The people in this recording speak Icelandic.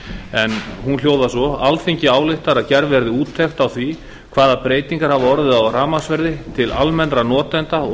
en hún hljóðar svo alþingi ályktar að gerð verði úttekt á því hvaða breytingar hafa orðið á rafmagnsverði til almennra notenda og